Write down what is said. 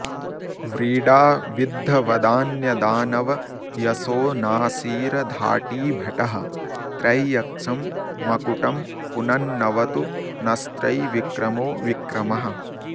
व्रीडा विद्ध वदान्य दानव यशो नासीर धाटी भटः त्रैयक्षं मकुटं पुनन्नवतु नस्त्रैविक्रमो विक्रमः